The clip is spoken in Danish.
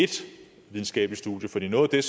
ét videnskabelige studie for noget af